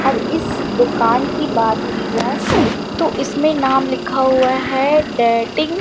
और इस दुकान की बात की जाए तो इसमें नाम लिखा हुआ है डाइटिंग ।